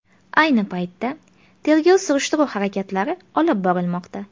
Ayni paytda tergov-surishtiruv harakatlari olib borilmoqda.